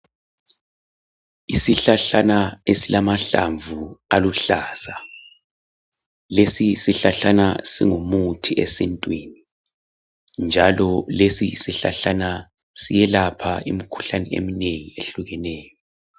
Isihlahlana esilamahlamvu aluhlaza. Lesi isihlahlana singumuthi esintwini, njalo siyelapha imikhuhlane eminengi ehlukeneyo.